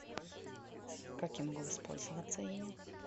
как я могу воспользоваться ими